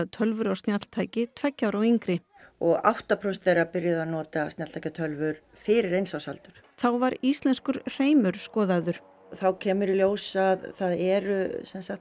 tölvur og snjalltæki tveggja ára og yngri og átta prósent þeirra byrjuðu að nota snjalltæki tölvur fyrir eins árs aldur þá var íslenskur hreimur skoðaður þá kemur í ljós að það eru